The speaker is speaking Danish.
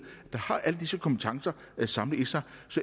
der har alle disse kompetencer samlet så